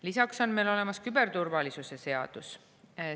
Lisaks on meil olemas küberturvalisuse seadus.